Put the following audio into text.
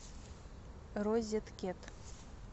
розеткед